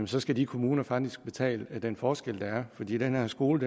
så skal de kommuner faktisk betale den forskel der er fordi den her skole